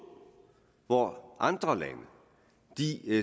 hvor andre lande